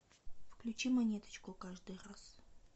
включи монеточку каждый раз